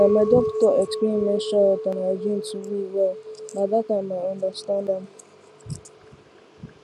na my doctor explain menstrual health and hygiene to me well na that time i understand am